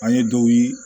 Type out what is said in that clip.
An ye dɔw ye